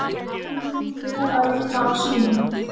Það kom henni vel að vinna á símanum.